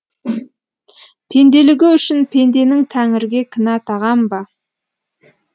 пенделігі үшін пенденің тәңірге кінә тағам ба